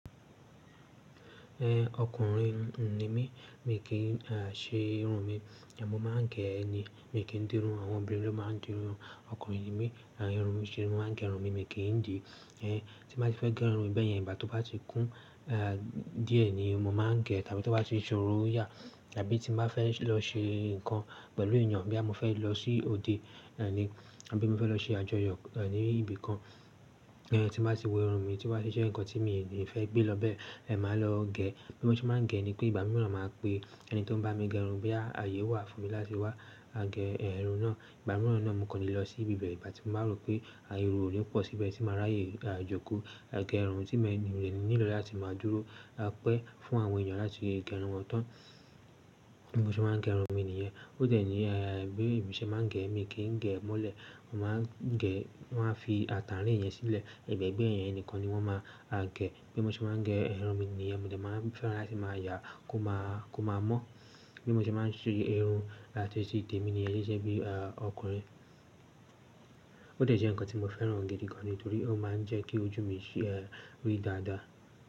Ẹn, ọkùnrin ni mí, mi kì í ṣe irun mi, èmi máa ń gẹ̀ ẹ́ ni. Mi kì í dín irun, àwọn obìnrin ló máa ń dín irun. Ọkùnrin ni mí, mo máa ń gẹ irun mi, mi kì í dì í. Tí mo bá ti fẹ́ gẹ irun mi bẹ́ẹ̀ yẹn, ìgbà tí ó bá ti kún díẹ̀ ni mo máa ń gẹ̀, tàbí tí ó bá ti ṣoro yà, tàbí tí mo bá fẹ́ lọ ṣe nǹkan pẹ̀lú ènìyàn, bí à mo fẹ́ lọ sí òde, ẹni, àbí mo fẹ́ lọ ṣe àjọyọ̀ ní ibi kan, tí mo bá ti wo irun mi tí wá ṣe ńkan tí mi ò lè fẹ́ gbé lọ bẹ́ẹ̀, ma lọ gẹ̀ ẹ́. Bí mo ṣe máa ń gẹ̀ ẹ́ ni pé ìgbà mìíràn ma pè ẹni tí ó ń bá mi gẹ irun, bí à ayé wà fún mi láti wá gẹ irun náà, ìgbà mìíràn náà mo kò lè lọ sí ibi bẹ́ẹ̀. Ìgbà tí mo bá rò pé ayé irun ò ní pọ̀ síbẹ̀ tí mo máa ráyè jókòó. A gẹ irun tí mo nílò láti máa dúró, a pẹ́ fún àwọn ènìyàn láti gẹ irun wọn tán. Bí mo ṣe máa ń gẹ irun mi nìyẹn. Ó dẹ̀ ní bí èmi ṣe máa ń gẹ̀ ẹ́ mi kì í gẹ̀ mọ́lẹ̀. Mo máa ń gẹ̀, wọ́n á fi àtàǹrín yẹn sílẹ̀, ẹ̀gbẹ̀ẹ́gbẹ́ẹ́ yẹn nìkan ni wọ́n máa gẹ̀. Bí mo ṣe máa ń gẹ irun mi nìyẹn, mo dà máa fẹ́ láti máa yà á, kó máa mọ́. Bí mo ṣe máa ń ṣe irun láti sí tèmi nìyẹn ṣiṣẹ́ bí ọkùnrin. Ó dẹ̀ jẹ́ ìkan tí mo fẹ́ràn gidi ganni torí, ó máa ń jẹ́kí ojú mi kori dáda.